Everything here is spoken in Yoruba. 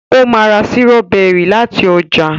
o má rà Sírọ́bẹ́rì lati ọjà